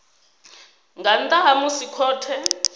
nga nnḓa ha musi khothe